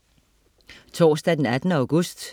Torsdag den 18. august